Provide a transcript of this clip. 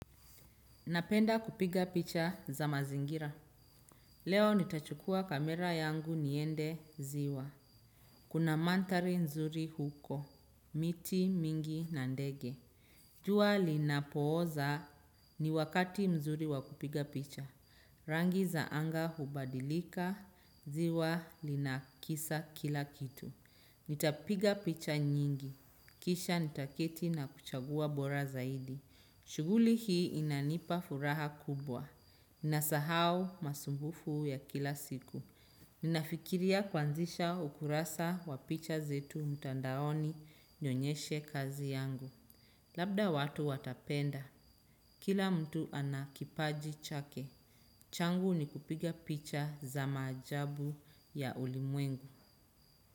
Napenda kupiga picha za mazingira. Leo nitachukua kamera yangu niende ziwa. Kuna mandhari nzuri huko. Miti, mingi, na ndege. Jua linapooza ni wakati mzuri wa kupiga picha. Rangi za anga hubadilika. Ziwa lina kisa kila kitu. Nitapiga picha nyingi. Kisha nitaketi na kuchagua bora zaidi. Shughuli hii inanipa furaha kubwa, nasahau masumbufu ya kila siku. Ninafikiria kuanzisha ukurasa wa picha zetu mtandaoni nionyeshe kazi yangu. Labda watu watapenda, kila mtu ana kipaji chake. Changu ni kupiga picha za maajabu ya ulimwengu.